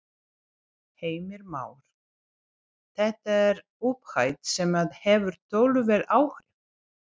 Heimir Már: Þetta er upphæð sem að hefur töluverð áhrif?